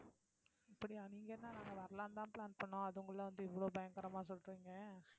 அப்படியா நீங்க இருந்தா நாங்க வரலான்னுதான் plan பண்ணோம் அதுக்குள்ள வந்து இவ்வளவு பயங்கரமா சொல்றீங்க